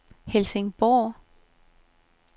Helsingborg